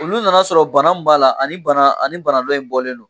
Olu nana sɔrɔ bana mun b'a la, ani bana ani bana dɔ in bɔlen don.